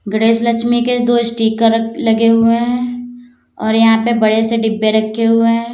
गणेश लक्ष्मी के दो स्टिकर लगे हुए हैं और यहां पे बड़े से डिब्बे रखे हुए हैं।